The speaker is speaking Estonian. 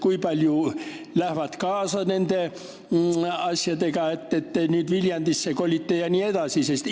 Kui paljud lähevad kaasa nende asjadega, et te nüüd Viljandisse kolite jne?